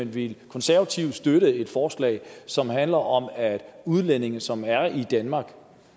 vil konservative støtte et forslag som handler om at udlændinge som er i danmark